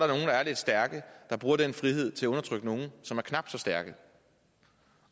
der er stærke der bruger den frihed til at undertrykke nogen som er knap så stærke